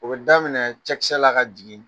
O bɛ daminɛ cɛkisɛla ka jigin.